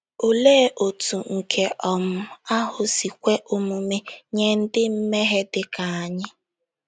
Olee otú nke um ahụ si kwe omume nye ndị mmehie dị ka anyị?